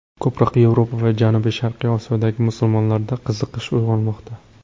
Ko‘proq Yevropa va janubiy-sharqiy Osiyodagi musulmonlarda qiziqish uyg‘onmoqda.